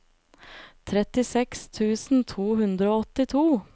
trettiseks tusen to hundre og åttito